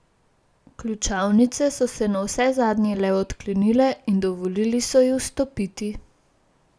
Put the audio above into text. Ključavnice so se navsezadnje le odklenile in dovolili so ji vstopiti.